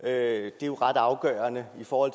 er jo ret afgørende i forhold